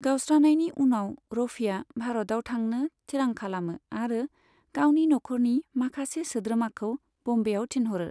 गावस्रानायनि उनाव, रफीआ भारतआव थानो थिरां खालामो आरो गावनि नखरनि माखासे सोद्रोमाखौ ब'म्बेआव थिनहरो।